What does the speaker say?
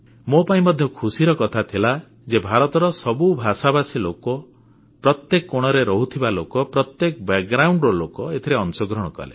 ମୋ ପାଇଁ ମଧ୍ୟ ଖୁସିର କଥା ଥିଲା ଯେ ଭାରତର ସବୁ ଭାଷାଭାଷୀ ଲୋକ ପ୍ରତ୍ୟେକ କୋଣରେ ରହୁଥିବା ଲୋକ ପ୍ରତ୍ୟେକ ପୃଷ୍ଟଭୂମିର ବ୍ୟାକଗ୍ରାଉଣ୍ଡ ଲୋକ ଏଥିରେ ଅଂଶଗ୍ରହଣ କଲେ